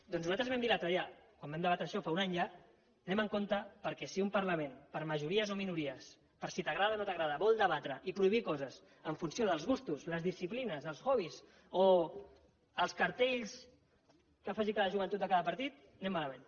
doncs nosaltres vam dir l’altre dia quan vam debatre això fa un any ja anem en compte perquè si un parlament per majories o minories per si t’agrada o no t’agrada vol debatre i prohibir coses en funció dels gustos les disciplines els hobbies o els cartells que faci cada joventut de cada partit anem malament